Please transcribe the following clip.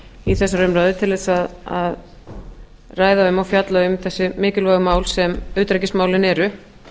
í þessari umræðu til þess að ræða um og fjalla um þessi mikilvægu mál sem utanríkismálin eru